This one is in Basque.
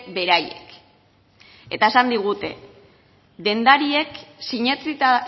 beraiek eta esan digute dendariek sinetsita